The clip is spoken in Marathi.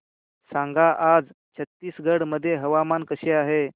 सांगा आज छत्तीसगड मध्ये हवामान कसे आहे